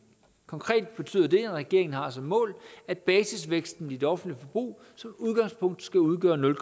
konkret betyder det at regeringen har som mål at basisvæksten i det offentlige forbrug som udgangspunkt skal udgøre nul